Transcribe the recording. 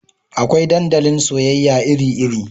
Akwai dandalin soyayya iri iri